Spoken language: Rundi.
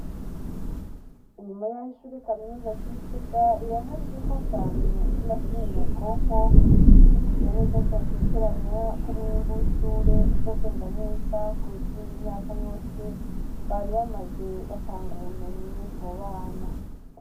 Inyuma y'aho ishure kaminuza ry'i Gitega rironkejwe imfashanyo y'imashini nyabwonko, ririzigiye neza ridakekeranya ko umwimbu w'ishure uzogenda neza kuruta iyindi myaka yose bari bamaze batanga ubumenyi mu bana.